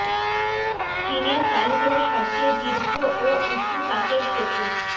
চীনে চালু হলো সবচেয়ে দীর্ঘ ও উঁচু কাচের সেতু